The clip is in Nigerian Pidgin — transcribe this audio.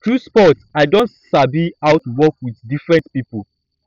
through sports i don sabi how to work with different pipo